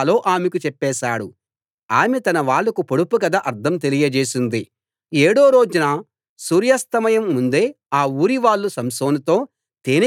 ఏడో రోజు ఆమె అతణ్ణి బాగా ఒత్తిడి చేయడం వల్ల ఆ పొడుపు కథ ఎలా విప్పాలో ఆమెకు చెప్పేశాడు ఆమె తన వాళ్లకు పొడుపు కథ అర్థం తెలియచేసింది